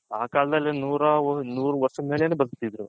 ಆ ಕಾಲದಲ್ಲಿ ನೂರ ನೂರು ವರುಷ ಮೇಲೇನೆ ಬದುಕ್ತಿದ್ರು